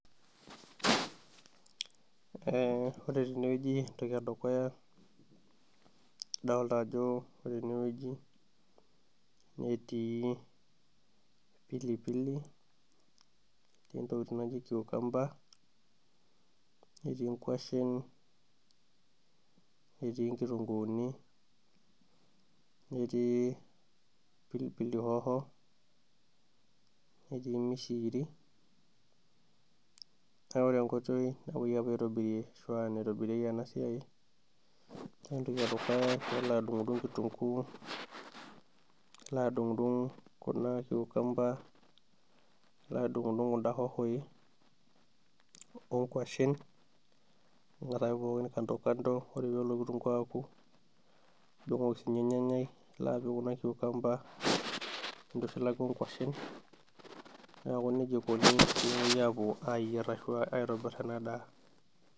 Ee ore tenewueji entoki edukuya adoolta ajo ore tenewueji netii pilipili, netii intokitin naijo kiukamba, netii inkuashen, netii inkitunguuni, netii pilipili hoho, netii mishikiri naa ore enkoitoi napuoi aitobirie ashu aa naitobirieki ena siai. Ore entoki edukuya naa ilo adung'udung' kitunguu, nilo adung'udung' kuna kiukamba, nilo adung'udung' kuna hohoi onkuashen nilo apik pookin kandokando ore ake peelo kitunguu aoku nidung'oki sininye olnyanyai, nilo apik kuna kiukamba nintushulaki inkuashen neeku nejia eikoni tenepoi aayierr ashu aitobirr ena daa.